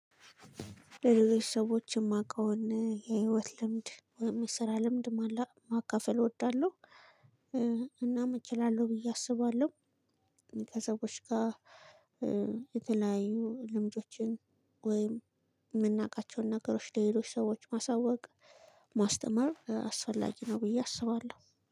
ለሌሎች ሰዎች የማቀውን የሂዎት ልምድ፣ የስራ ልምድ ማካፈል እወዳለሁ እናም እችላለሁ ብዬ አስባለሁ። ከሰዎች ጋር የተለያዩ ልምዶችን ወይም የምናውቃቸውን ነገሮች ለሌሎች ሰዎች ማሳወቅ፣ ማስተማር አስፈላጊ ነው ብዬ አስባለሁ።